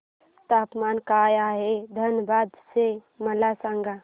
तापमान काय आहे धनबाद चे मला सांगा